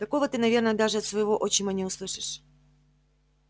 такого ты наверное даже от своего отчима не услышишь